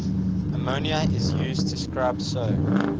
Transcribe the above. ammonia is used to scrub so